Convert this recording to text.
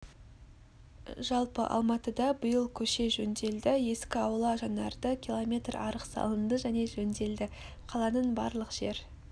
жалпы алматыда биыл көше жөнделді ескі аула жаңарды км арық салынды және жөнделді қаланың барлық жер